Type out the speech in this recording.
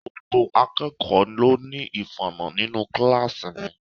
Gbogbo akẹ́kọ̀ọ́ ló ní ìfala nínú kíláàsì mi.